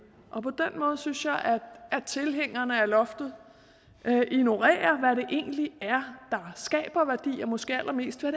måde synes jeg at tilhængerne af loftet ignorerer hvad det egentlig er der skaber værdi og måske allermest hvad